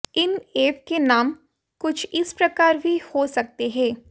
इन app के नाम कुछ इस प्रकार भी हो सकते हैं